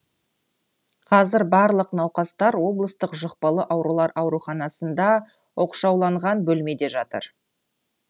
қазір барлық науқастар облыстық жұқпалы аурулар ауруханасында оқшауланған бөлмеде жатыр